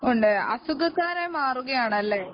കൊണ്ടുവരും അസുഖക്കാരായി മാറുകയാണല്ലേ